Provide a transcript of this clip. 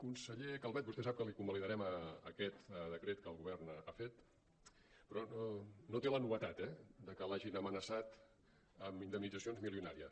conseller calvet vostè sap que li convalidarem aquest decret que el govern ha fet però no té la novetat eh de que l’hagin amenaçat amb indemnitzacions milionàries